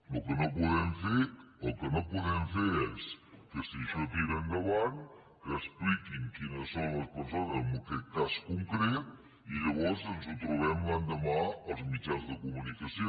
el que no podem fer el que no podem fer és que si això tira endavant que expliquin quines són les persones en aquest cas concret i que llavors ens ho trobem l’endemà als mitjans de comunicació